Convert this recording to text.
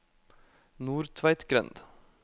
Nordtveitgrend